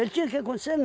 tinha que acontecer?